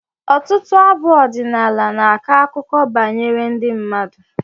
Ọtụtụ abụ ọdịnala na-akọ akụkọ banyere ndị mmadụ.